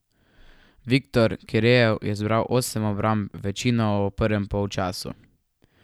Viktor Kirejev je zbral osem obramb, večino v prvem polčasu.